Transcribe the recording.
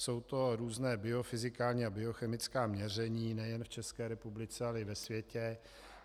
Jsou to různá biofyzikální a biochemická měření nejen v České republice, ale i ve světě.